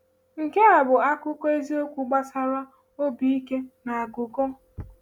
Nke a bụ akụkọ eziokwu gbasara obi ike na aghụghọ.